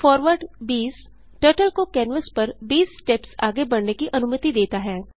forward 20 turtle को canvas पर 20 steps आगे बढ़ने की अनुमति देता है